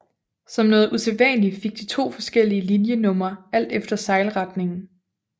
Som noget usædvanligt fik de to forskellige linjenumre alt efter sejlretningen